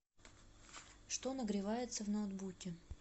что нагревается в ноутбуке